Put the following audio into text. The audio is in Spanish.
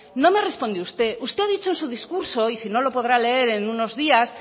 no me responde usted usted ha dicho en su discurso y si no lo podrá leer en unos días